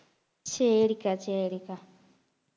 சரிக்கா சரிக்கா